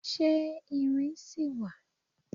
Ṣe iwin ṣi wa